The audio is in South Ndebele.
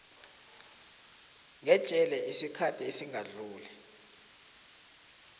ngejele isikhathi esingadluli